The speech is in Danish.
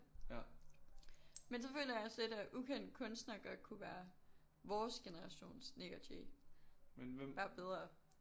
Men så føler jeg også lidt at Ukendt Kunstner godt kunne være vores generations Nik og Jay bare bedre